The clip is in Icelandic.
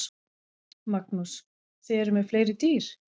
Magnús: Þið eruð með fleiri dýr?